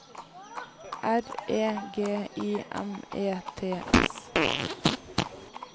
R E G I M E T S